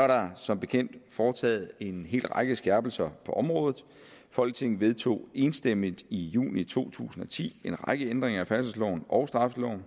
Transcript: er der som bekendt foretaget en hel række skærpelser på området folketinget vedtog enstemmigt i juni to tusind og ti en række ændringer af færdselsloven og straffeloven